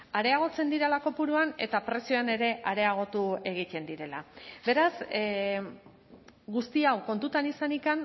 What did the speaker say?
areagotzen direla kopuruan eta prezioan ere areagotu egiten direla beraz guzti hau kontutan izanik